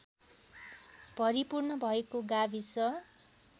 भरिपूर्ण भएको गाविस